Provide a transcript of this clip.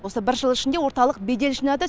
осы бір жыл ішінде орталық бедел жинады